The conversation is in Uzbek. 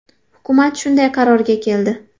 Hukumat shunday qarorga keldi.